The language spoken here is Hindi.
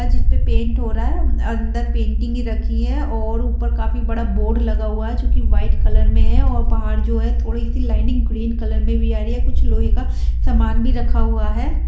आज इस पे पेंट हो रहा है अंदर पेंटिंग रखी है और ऊपर काफी बड़ा बोर्ड लगा हुआ है जो कि व्हाइट कलर मे है और बाहर जो है थोड़ी सी लाइनिंग ग्रीन कलर मे भी आ रही है कुछ लोहे का सामान भी रखा हुआ है।